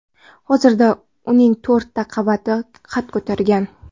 Hozirda uning to‘rtta qavati qad ko‘targan.